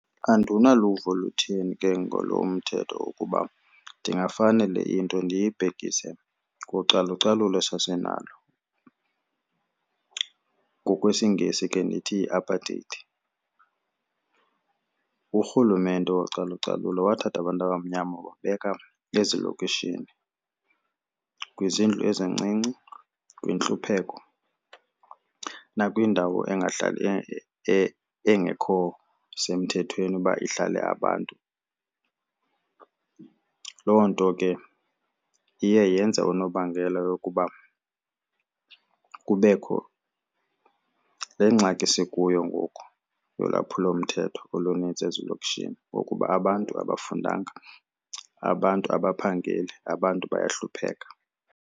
Andinaluvo lutheni ke ngalo mthetho ukuba ndingafane le into ndiyibhekise kucalucalulo sasinalo, ngokwesiNgesi ke ndithi yiApartheid. URhulumente wocalucalulo wathatha abantu abamnyama wababeka ezilokishini kwizindlu ezincinci kwintlupheko nakwindawo engahlali engekho semthethweni uba ihlale abantu. Loo nto ke iye yenza unobangela yokuba kubekho le ngxaki sikuyo ngoku yolwaphulomthetho olunintsi ezilokishini ngokuba abantu abafundanga, abantu abaphangeli, abantu bayahlupheka.